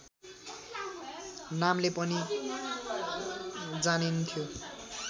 नामले पनि जानिन्थ्यो